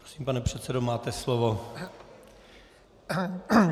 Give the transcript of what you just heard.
Prosím, pane předsedo, máte slovo.